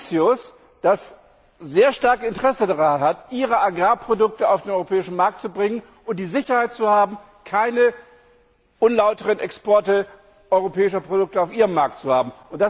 Mauritius, das sehr starkes Interesse daran hat, seine Agrarprodukte auf den europäischen Markt zu bringen und die Sicherheit zu haben, keine unlauteren Exporte europäischer Produkte auf seinem Markt zu haben?